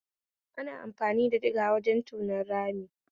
Ana amfani da diga wajen tonon rami